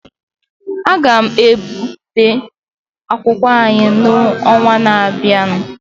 A ga-ebipụta akwụkwọ anyị n'ọnwa na-abịa.